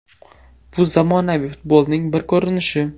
Bu zamonaviy futbolning bir ko‘rinishi.